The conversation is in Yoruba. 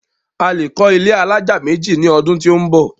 A lè kọ́ ilé alájà méjì ní ọdún tí ó ń bọ̀.